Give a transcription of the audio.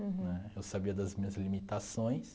Uhum. Né, eu sabia das minhas limitações.